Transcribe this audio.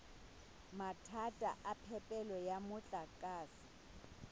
mathata a phepelo ya motlakase